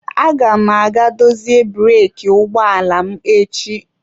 Aga m aga dozie breeki ụgbọ ala m echi.